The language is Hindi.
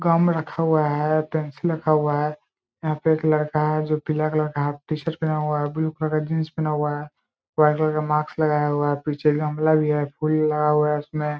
गम रखा हुआ है पेंसिल रखा हुआ है यहाँ पे एक लड़का है जो पीला कलर का हाफ टी-शर्ट पहेना हुआ है ब्लू कलर का जीन्स पहेना हुआ है वाइट कलर का मास्क लगाया हुआ है पीछे गमला भी है फूल लगा हुआ है उसमें--